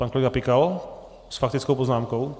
Pan kolega Pikal s faktickou poznámkou.